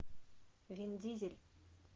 вин дизель